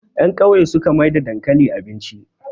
yankauye su suka maida dankali abinci